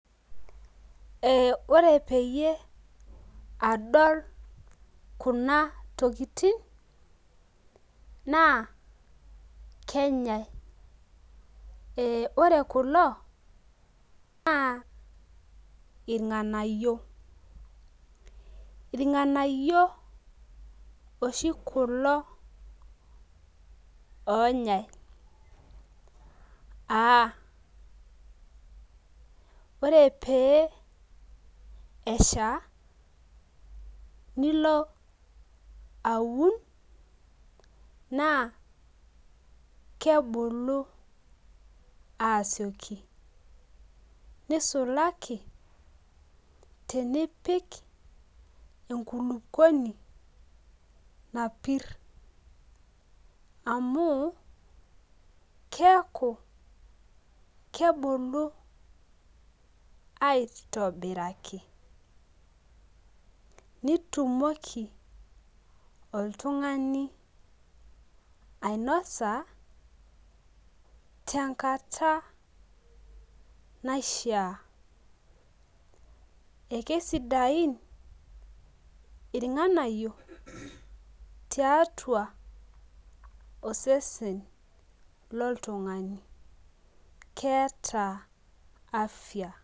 Ore peyie adol Kuna tokitin, naa kenyae, ee ore kulo naa irnganayio. irnganayio oshi kulo, oonyae.aa ore pee esha. nilo aun, naa kebulu aasioki. nisulaki tenipik enkulupuoni napir. amu keeku, kebulu aitaboraki, nitumoki oltungani. ainosa. tenakata naishaa. ekiesidain inranganyio tiatua osesen loltungani. naa keeta afia.